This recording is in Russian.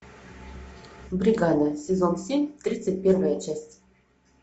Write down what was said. бригада сезон семь тридцать первая часть